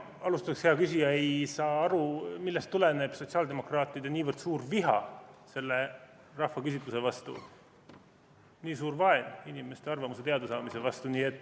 Ma alustan, hea küsija, sellest, et ei saa aru, millest tuleneb sotsiaaldemokraatide niivõrd suur viha selle rahvaküsitluse vastu, nii suur vaen inimeste arvamuse teadasaamise vastu.